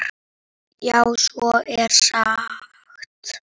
Já, svo er sagt.